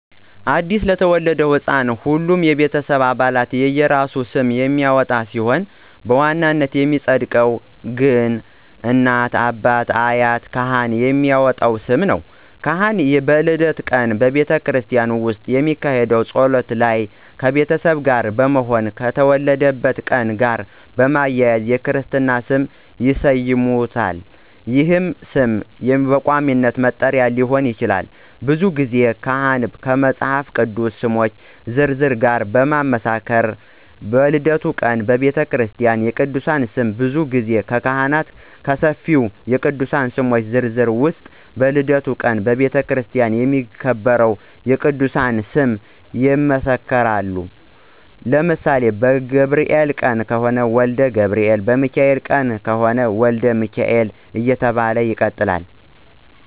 አዲስ ለተወለደ ሕፃን ሁሉም የቤተሰብ አባላት የየራሱን ስም የሚያወጣ ቢሆንም በዋናነት የሚፀድቀው ግን እናት፣ አባት፣ አያት እና ካህን የሚያወጡት ስም ነው። ካህን በልደት ቀን በቤተክርስቲያን ውስጥ በሚካሄደው ጸሎት ላይ ከቤተሰቡ ጋር በመሆን ከተወለደበት ቀን ጋር በማያያዝ የክርስትና ስሙን ይሰይሙታል ይህም ስም በቋሚነት መጠሪያ ሊሆን ይችላል። ብዙ ጊዜ ካህኑ ከመፃፍ ቅዱስ ስሞች ዝርዝር ጋር በማመሳከር በልደቱ ቀን በቤተክርስቲያ የቅድስና ስም ብዙ ጊዜ ካህኑ ከሰፊው የቅዱሳን ስሞች ዝርዝር ውስጥ በልደቱ ቀን በቤተክርስቲያን የሚከበር የቅድስና ስም ይመሰክራሉ ለምሳሌ በገብርኤል ቀን የተወለደ ወልደ ገብርኤል፣ በሚካኤል የተወለደ ደግሞ ወልደ ሚካኤል እየተባለ ይቀጥላለ።